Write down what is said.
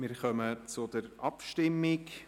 Wir kommen zur Abstimmung.